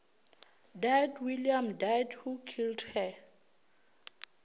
dead william deadwho killed her